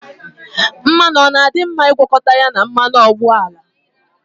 Mmanụ ọ dị mma ịgwakọta ya na mmanụ ụgbọala?